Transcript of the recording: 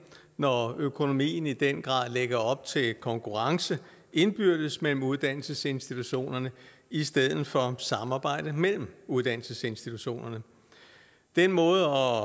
når økonomien i den grad lægger op til konkurrence indbyrdes mellem uddannelsesinstitutionerne i stedet for samarbejde mellem uddannelsesinstitutionerne den måde